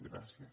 gràcies